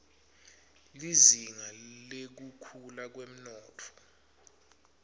lizinga lekukhula kwemnotfo